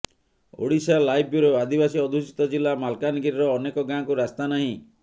Odisha live bureau ଆଦିବାସୀ ଅଧ୍ୟୁଷିତ ଜିଲ୍ଲା ମାଲକାନଗିରିର ଅନେକ ଗାଁକୁ ରାସ୍ତା ନାହିଁ